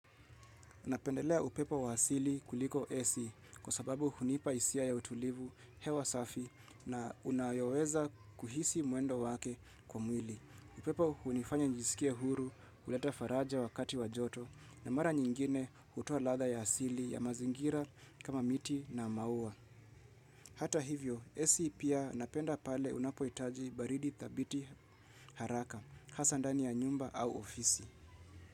Napendelea upepo wa asili kuliko AC kwa sababu hunipa hisia ya utulivu, hewa safi na unayoweza kuhisi mwendo wake kwa mwili. Upepo hunifanya njisikie huru, huleta faraja wakati wa joto, na mara nyingine hutoa ladha ya asili ya mazingira kama miti na maua. Hata hivyo, AC pia napenda pale unapohitaji baridi thabiti haraka, hasa ndani ya nyumba au ofisi.